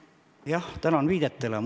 Jah, tänan viidete eest!